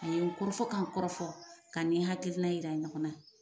A ye n kɔrɔfɔ ka n kɔrɔfɔ ka nin hakilina in jira ɲɔgɔn na